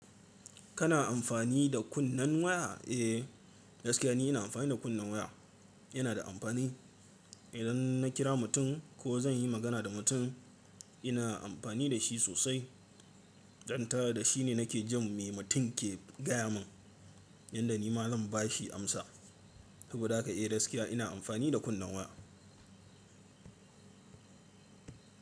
Kana amfani da kunnen waya? Eh, gaskiya ni ina amfani da kunnen waya. Yana da amfani. Idan na kira mutum ko, zan yi magana da mutum, ina amfani da shi sosai. Dan tada shi ne nake jin me mutum ke gaya min, yanda ni ma zan ba shi amsa. Saboda haka eh gaskiya ina amfani da kunnen waya.